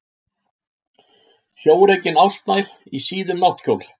Sjórekin ástmær í síðum náttkjól.